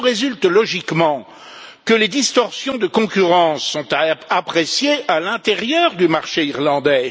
Il en résulte logiquement que les distorsions de concurrence sont appréciées à l'intérieur du marché irlandais.